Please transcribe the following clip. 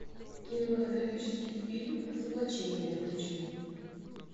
кинематографический фильм разоблачение включи